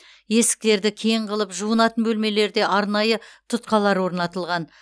есіктерді кең қылып жуынатын бөлмелерде арнайы тұтқалар орнатылған